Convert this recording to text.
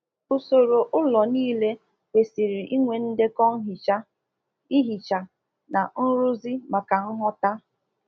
Ụlọ n'ile ebe a na azụ ọkụkọ kwesiri inwe kwesiri inwe ndekọ banyere mgbocha ụlọ ọkụkọ, mgbasa ọgwụ mgbochi na mmezi ihe mebiri emebi maka nghọta